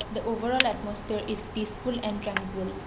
the overall atmosphere is peaceful and tranquil.